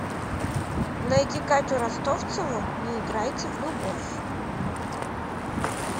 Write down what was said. найди катю ростовцеву не играйте в любовь